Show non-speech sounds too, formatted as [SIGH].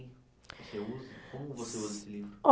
[UNINTELLIGIBLE] Como você usa esse livro? [UNINTELLIGIBLE]